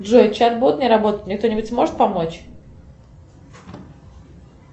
джой чат бот не работает мне кто нибудь сможет помочь